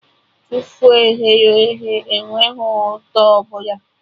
Tofu e ghere eghe enweghị ụtọ ọbụla